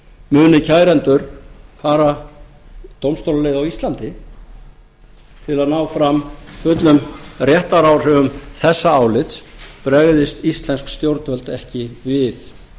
muni kærendur fara dómstólaleið á íslandi til að ná fram fullum réttaráhrifum þessa álits bregðist íslensk stjórnvöld ekki við